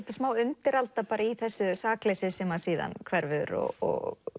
undiralda í þessu sakleysi sem síðan hverfur og